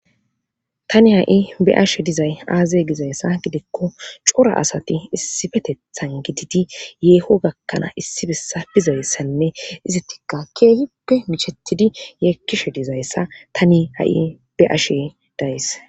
tani ha7i be'ashe dizay aaze dizayssa gidikko cora asati issifetethan gididi yeeho gakkanaa issibessa bizayssanne izittikka keehipe michetidi yeekkishe dizayssa tani ha7i be ashe days